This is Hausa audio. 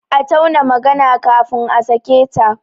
A tauna magana kafin a sake ta!